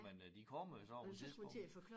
Men øh de kommer jo så på et tidspunkt